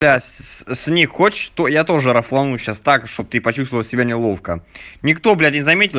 да с ней хочешь то я тоже рофлану сейчас так чтобы ты почувствовала себя неловко никто блять не заметил